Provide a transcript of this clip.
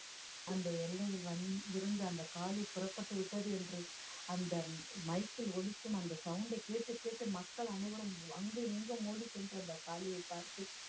அந்த எல்லை வந்~ இருந்த அந்த காளி புறப்பட்டு விட்டது என்று அந்த mike ல் ஒலிக்கும் அந்த sound அ கேட்டு கேட்டு மக்கள் அனைவரும் அங்கும் இங்கும் ஓடி சென்று அந்த காளியை பார்த்து